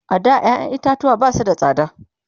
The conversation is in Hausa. a da ƴaƴan itatuwa Basu da tsada